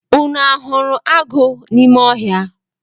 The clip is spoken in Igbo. Unu a hụrụ agụ n’ime ọhịa?